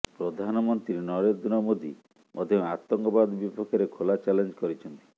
ପ୍ରଧାନମନ୍ତ୍ରୀ ନରେନ୍ଦ୍ର ମୋଦି ମଧ୍ୟ ଆତଙ୍କବାଦ ବିପକ୍ଷରେ ଖୋଲା ଚ୍ୟାଲେଞ୍ଜ କରିଛନ୍ତି